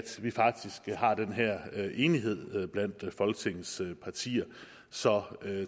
vi faktisk har den her enighed blandt folketingets partier så